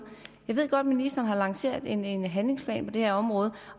jeg ved godt at ministeren har lanceret en en handlingsplan på det her område